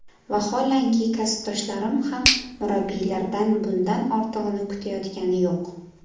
Vaholanki, kasbdoshlarim ham murabbiylardan bundan ortig‘ini kutayotgani yo‘q.